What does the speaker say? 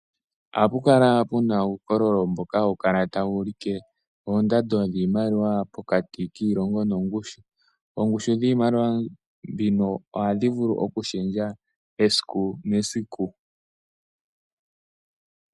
Ohapu kala pu na uukololo mboka hawu kala tawu ulike oondando dhiimaliwa pokati kiilongo nongushu yawo. Oongushu dhiimaliwa mbyoka ohadhi vulu okushendja esiku nesiku